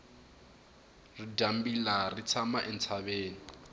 ridyambila ri tshama entshaveni